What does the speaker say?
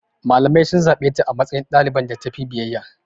Malamai sun zaɓe ta a matsayin ɗaliban da tafi biyayya.